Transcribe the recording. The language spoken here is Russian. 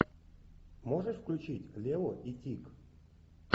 можешь включить лео и тик